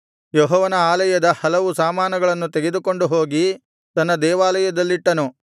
ಯೆಹೋವನ ಆಲಯದ ಹಲವು ಸಾಮಾನುಗಳನ್ನು ತೆಗೆದುಕೊಂಡು ಹೋಗಿ ತನ್ನ ದೇವಾಲಯದಲ್ಲಿಟ್ಟನು